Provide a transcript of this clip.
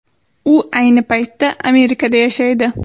U ayni paytda Amerikada yashaydi.